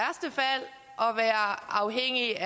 også